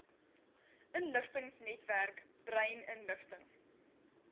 inligtingsnetwerk brain inligting